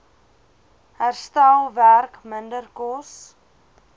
herstelwerk minder kos